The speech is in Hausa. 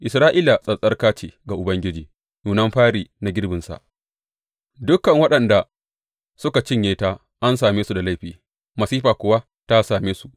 Isra’ila tsattsarka ce ga Ubangiji, nunan fari na girbinsa; dukan waɗanda suka cinye ta an same su da laifi, masifa kuwa ta same su,’